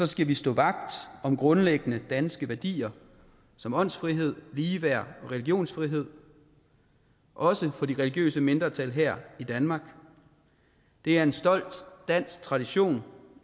skal vi stå vagt om grundlæggende danske værdier som åndsfrihed ligeværd og religionsfrihed også for de religiøse mindretal her i danmark det er en stolt dansk tradition